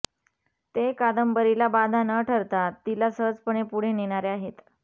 ते कादंबरीला बाधा न ठरता तिला सहजपणे पुढे नेणारे आहेत